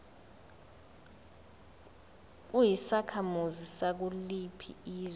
uyisakhamuzi sakuliphi izwe